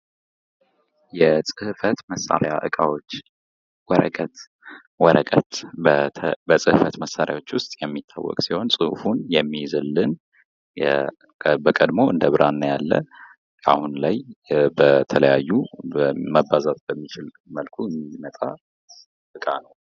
የጽህፈት መሳሪያ እቃዎች ወረቀት፦ ወረቀት በጽህፈት መሳሪያዎች ውስጥ የሚታወቅ ሲሆን ጽሑፉን የሚይዝልን በቀድሞው እንደብራና ያለ አሁን ላይ በተለያዩ መባዛት በሚችል መልኩ የሚመጣ እቃ ነው።